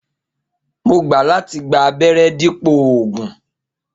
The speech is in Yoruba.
Mo gbà láti gba abéré dípò ògùn